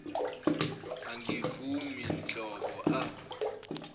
angivumi nhlobo a